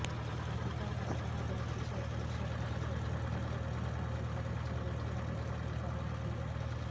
अधिकार नसताना बँकेचे अध्यक्ष आणि संचालकांवर गुन्हा दाखल करण्याचे लेखी आदेश या अधिकाऱ्यांनी दिले